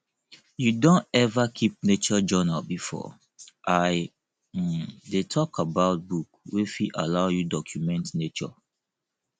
you don ever keep nature journal before i um dey talk about book wey fit allow you document nature